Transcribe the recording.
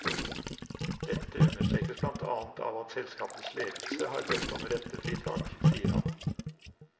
Dette understrekes blant annet av at selskapets ledelse har bedt om rentefritak, sier han.